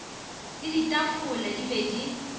le ditafola di be di